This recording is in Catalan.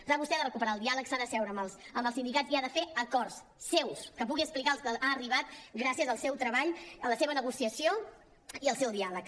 clar vostè ha de recuperar el diàleg s’ha d’asseure amb els sindicats i ha de fer acords seus que pugui explicar als que ha arribat gràcies al seu treball a la seva negociació i al seu diàleg